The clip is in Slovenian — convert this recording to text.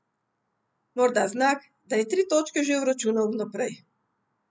Morda znak, da je tri točke že vračunal vnaprej.